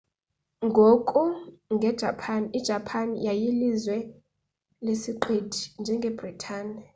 ngoku nge japan ijapan yayililizwe lesiqithi njengebritane